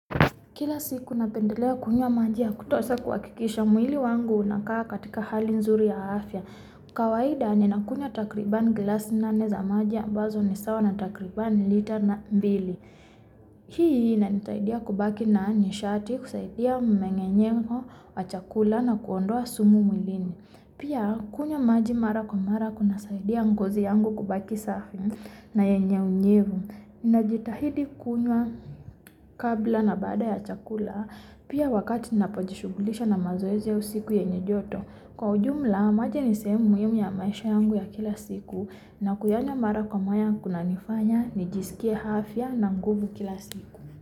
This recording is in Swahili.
Kila siku napendelea kunywa maji ya kutosha kuhakikisha mwili wangu unakaa katika hali nzuri ya afya kawaida ninakunywa takribani glasi nane za maji ambazo ni sawa na takribani lita na mbili Hii inanisaidia kubaki na nishati, kusaidia mmeng'enyo wa chakula na kuondoa sumu mwilini. Pia kunywa maji mara kwa mara kunasaidia ngozi yangu kubaki safi na yenye unyevu Najitahidi kunywa kabla na baada ya chakula Pia wakati ninapojishughulisha na mazoezi au siku yenye joto. Kwa ujumla maji ni sehemu muhimu ya maisha yangu ya kila siku na kuyanywa mara kwa mara kunanifanya nijisikie afya na nguvu kila siku.